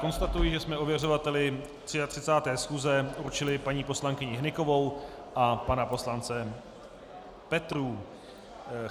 Konstatuji, že jsme ověřovateli 33. schůze určili paní poslankyni Hnykovou a pana poslance Petrů.